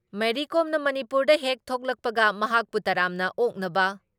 ꯃꯦꯔꯤ ꯀꯣꯝꯅ ꯃꯅꯤꯄꯨꯔꯗ ꯍꯦꯛ ꯊꯣꯛꯂꯛꯄꯒ ꯃꯍꯥꯛꯄꯨ ꯇꯔꯥꯝꯅ ꯑꯣꯛꯅꯕ ꯫